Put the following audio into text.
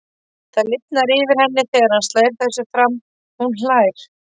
Það lifnar yfir henni þegar hann slær þessu fram, hún hlær.